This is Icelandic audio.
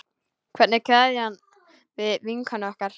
Hvernig kveðjum við vinkonu okkar?